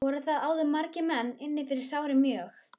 Voru þar áður margir menn inni fyrir sárir mjög.